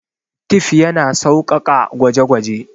Tif yana sauƙaƙa gwaje-gwaje.